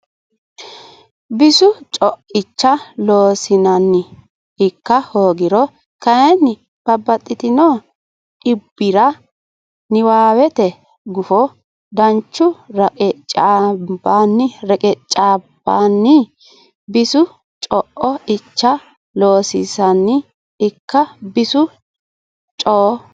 Bisu co icha Loossinanni ikka hoogiro kayinni babbaxxino dhibbira niwaawete gufo danchu reqeccaambanni Bisu co icha Loossinanni ikka Bisu co.